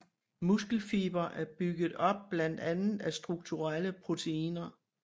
Muskelfibre er bygget op blandt andet af strukturelle proteiner